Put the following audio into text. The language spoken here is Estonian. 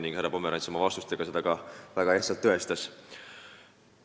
Ning härra Pomerants oma vastustega seda ka väga hästi tõestas.